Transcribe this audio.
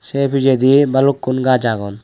say pijadi balukun gus aagon.